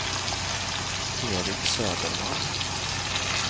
Eric Söderman